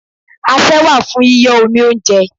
Asẹ́ wà fún yíyọ́ omi óúnjẹ.